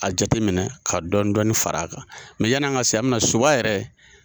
K'a jateminɛ ka dɔɔni dɔɔni fara a kan mɛ yan ka se a bɛna Soba yɛrɛ